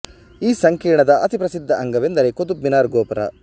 ಈ ಸಂಕೀರ್ಣದ ಅತಿ ಪ್ರಸಿದ್ಧ ಅಂಗವೆಂದರೆ ಕುತುಬ್ ಮಿನಾರ್ ಗೋಪುರ